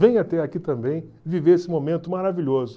Venha até aqui também viver esse momento maravilhoso.